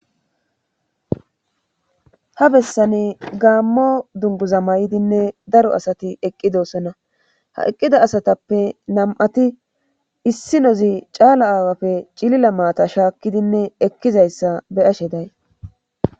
ha bessani gaammo dunguza mayidinne daro asati eqqi doosona ha eqqida asatappe nam7ati issi nozicaala aawafe cilila maata shaakkidinne ekkizayssa be7ashe day.